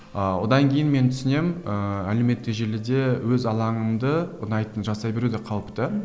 ыыы одан кейін мен түсінемін ыыы әлеуметтік желіде өз алаңыңды ұнайтын жасай білу де қауіпті